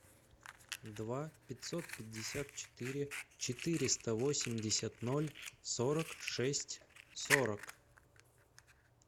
два пятьсот пятьдесят четыре четыреста восемьдесят ноль сорок шесть сорок